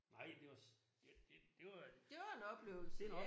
Nej det var det det det var